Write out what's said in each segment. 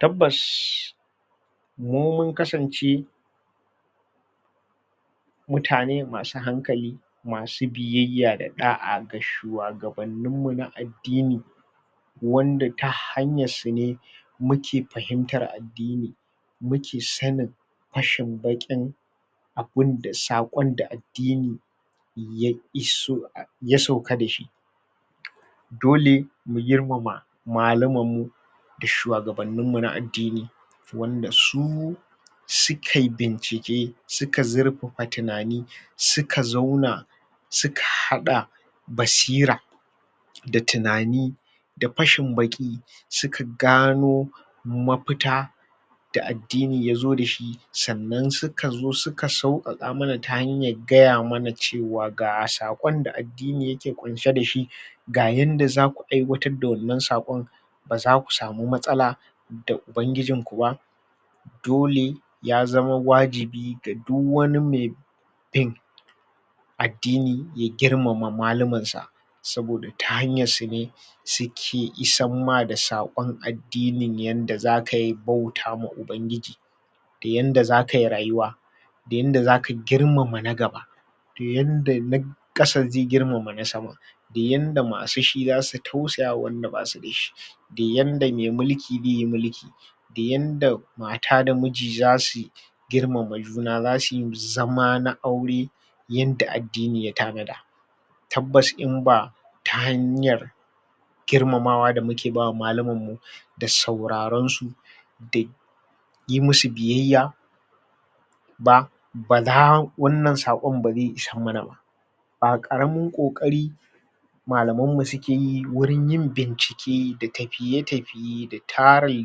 tabbas mu mun kasance mutane masu hankali masu biyayya da ɗa'a ga shuwagabannin mu na addini wanda ta hanyar su ne muke fahimtar addini muke sanin fashin baƙin abinda sakon da addinin ya iso ya sauka dashi dole mu girmama malumman mu da shuwagabannin mu na addini ta wanda su sukai bincike suka zurfafa tunani suka zauna suka haɗa basira da tunani da fashin baƙi suka gano ma fita da addini yazo dashi sannan suka zo suka sauƙaƙa muna ta hanyar gaya mana cewa ga sakon da addini ke kunshe dashi ga yanda zaku aiwatar da wannan sakon ba zaku samu matsala da ubangijin ku ba dole ya zama wajibi gare du wani mai kai addini ya girmama maluman sa saboda ta hayar su ne uke issar ma da sakon addini addini yanda zaka bauta ma ubangiji da yanda zakayi rayuwa da yanda zaka girmama na gaba da yanda na na kasa zai girmama na sama da yanda masu shi zasu tausaya ma wanda basu dashi da yanda mai mulki zaiyi mulki da yanda mata da miji zasuyi girmama juna zasuyi zama na aure yanda addini ya tanada tabbas in ba ta hanyar girmamawa da muke ba malumman mu da sauraron su da yi musu biyayya da ba la wannan sakon ba zai isar muna ba ba ƙaramin ƙoƙari malamam mu suke yi wurin yin bincike da tafiye tafiye da tarin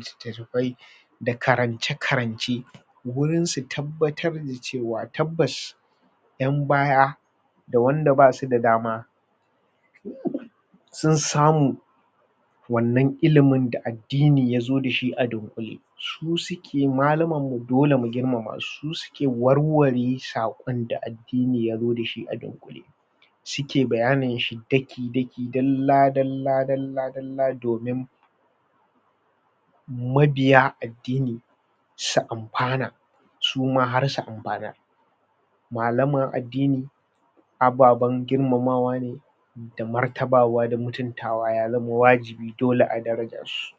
littattafai da karance karance wurin su tabbatar mu cewa tabbas yan baya da wanda basu da dama sun samu wannan ilimin da addini yazo dashi a dunkule su suke malumman mu dole mu girmama su su suke warware sakon da addini addini yazo dashi a dunkule suke bayanin shi daki daki daki dalla dalla dalla dalla domin mabiya addini su amfana suma har su amfanar malaman addini ababan girmamawa ne da martabawa da mutuntawa ya zamo wajibi dole a daraja su